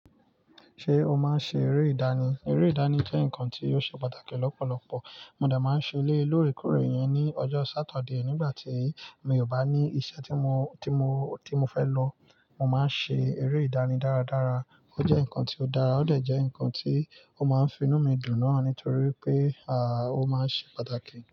Ṣé o máa ń ṣe eré ìdánì? Eré ìdáni jẹ́ nǹkan tí ó ṣe pàtàkì lọ́pọ̀lọpọ̀. Mo dẹ̀ máa ń ṣe eléyìí lórèkórè ìyẹn ní ọjọ́ Saturday nígbà tí mi ò bá ní iṣẹ́ tí mo, tí mo, tí mo fẹ́ lọ. Mo máa ń ṣe eré ìdánì dáradára. Ó jẹ́ nǹkan tí ó dára, ó dẹ̀ jẹ́ nǹkan tí ó máa finú mi dùn náà nítorí pé ó máa ń se pàtàkì.